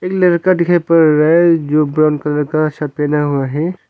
एक लड़का दिखाई पड़ रहा है जो ब्राउन कलर का शर्ट पहना हुआ है।